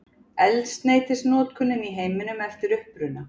Eldsneytisnotkun í heiminum eftir uppruna.